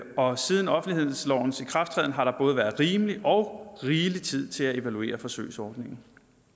og siden offentlighedslovens ikrafttræden har der både være rimelig og rigelig tid til at evaluere forsøgsordningen